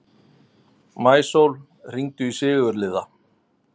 Maísól, hringdu í Sigurliða.